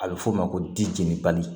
A bɛ f'o ma ko dijɛnibali